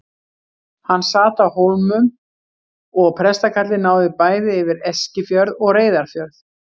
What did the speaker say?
Hann sat á Hólmum og prestakallið náði bæði yfir Eskifjörð og Reyðarfjörð.